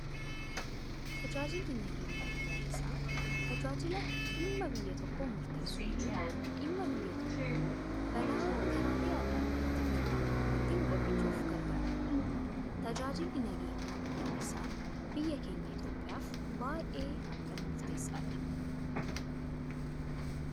Tajaajilli nageenya biyyaalessaa, tajaajila dhimma biyyaa tokkoo murteessuu fi dhimma biyya tokko balaa karaalee addaa addaa itti dhufan ittiin qolachuuf gargaaranidha. Tajaajilli nageenya biyyaalessaa biyya keenya Itoophiyaaf baayyee akkaan murteessaa dha.